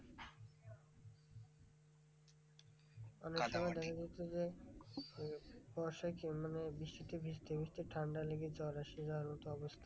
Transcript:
অনেক সময় দেখা যেত যে, বর্ষায় কি মানে বৃষ্টিতে ভিজতে ভিজতে ঠান্ডা লেগে জ্বর এসে যাওয়ার মতো অবস্থা।